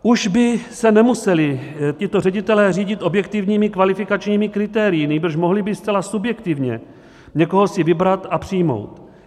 Už by se nemuseli tito ředitelé řídit objektivními kvalifikačními kritérii, nýbrž mohli by zcela subjektivně někoho si vybrat a přijmout.